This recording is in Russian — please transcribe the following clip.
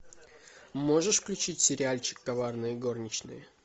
можешь включить сериальчик коварные горничные